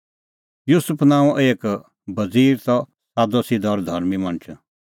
युसुफ नांओं एक बज़ीर त सादअ सिधअ और धर्मीं मणछ